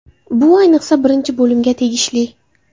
Bu, ayniqsa, birinchi bo‘limga tegishli.